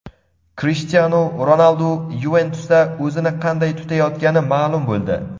Krishtianu Ronaldu "Yuventus"da o‘zini qanday tutayotgani maʼlum bo‘ldi.